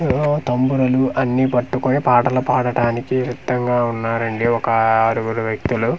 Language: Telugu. ఈగో తంబులను అన్ని పట్టుకొని పాటలు పడడానికి సిద్దంగా ఉన్నారండి ఒక అఅ ఆరుగురు వ్యక్తులు.